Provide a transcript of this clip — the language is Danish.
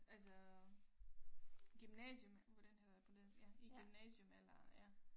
Altså gymnasium hvordan hedder det på dansk ja i gymnasium eller ja